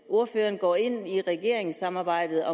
ordføreren går ind i regeringssamarbejdet